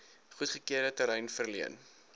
goedgekeurde terrein verleen